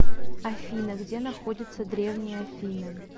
афина где находится древние афины